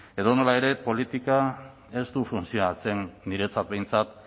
edonola ere politikak ez du funtzionatzen niretzat behintzat